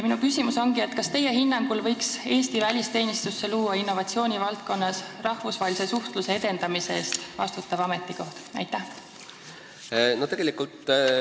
Kas teie hinnangul võiks Eesti välisteenistusse luua innovatsiooni valdkonnas rahvusvahelise suhtluse edendamise eest vastutava inimese ametikoha?